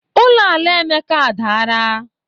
Ụlọ ala Emeka adaara.